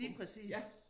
Lige præcis